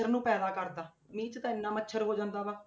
ਮੱਛਰ ਨੂੰ ਪੈਦਾ ਕਰਦਾ ਇਹ 'ਚ ਤਾਂ ਇੰਨਾ ਮੱਛਰ ਹੋ ਜਾਂਦਾ ਵਾ।